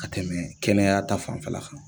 Ka tɛmɛ kɛnɛya ta fanfɛla kan.